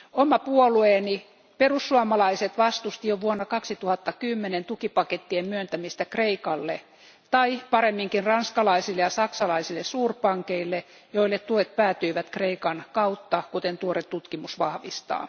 Oma puolueeni, perussuomalaiset, vastusti jo vuonna 2010 tukipakettien myöntämistä Kreikalle, tai paremminkin ranskalaisille ja saksalaisille suurpankeille, joille tuet päätyivät Kreikan kautta, kuten tuore tutkimus vahvistaa.